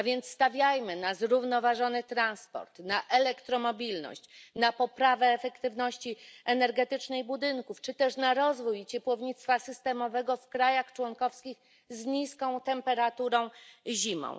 Stawiajmy na zrównoważony transport, na elektromobilność, na poprawę efektywności energetycznej budynków czy też na rozwój ciepłownictwa systemowego w krajach członkowskich z niskimi temperaturami zimą.